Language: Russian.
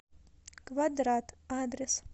квадрат адрес